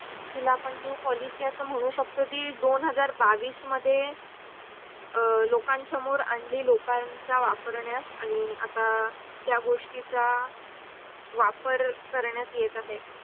हिला पण आपण new policy अस म्हणू शकतो जी दोन हजार बावीस मध्ये लोकन समोर आणलेली लोकांचा वापरण्यास आणी आता त्या गोष्टी चा वापर करण्यात येत आहे.